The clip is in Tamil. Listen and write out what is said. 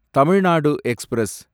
தமிழ் நாடு எக்ஸ்பிரஸ்